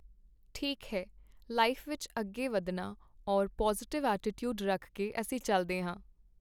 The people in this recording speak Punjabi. ਠੀਕ ਹੈ ਲਾਈਫ ਵਿੱਚ ਅੱਗੇ ਵੱਧਣਾ ਔਰ ਪੋਜ਼ੀਟਿਵ ਐਟੀਟਿਊਡ ਰੱਖ ਕੇ ਅਸੀਂ ਚੱਲਦੇ ਹਾਂ